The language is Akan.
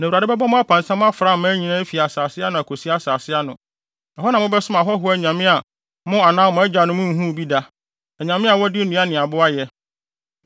Na Awurade bɛbɔ mo apansam afra aman nyinaa afi asase ano akosi asase ano. Ɛhɔ na mobɛsom ahɔho anyame a mo anaa mo agyanom nhuu bi da; anyame a wɔde nnua ne abo ayɛ!